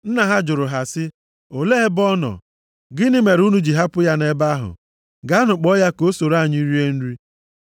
Nna ha jụrụ ha sị, “Olee ebe ọ nọ? Gịnị mere unu ji hapụ ya nʼebe ahụ? Gaanụ kpọọ ya ka o soro anyị rie nri.”